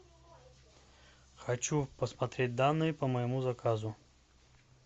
хочу посмотреть данные по моему заказу